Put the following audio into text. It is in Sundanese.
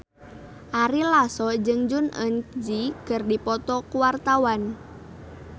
Ari Lasso jeung Jong Eun Ji keur dipoto ku wartawan